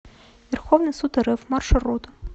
верховный суд рф маршрут